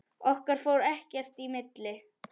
Okkar fór ekkert í milli.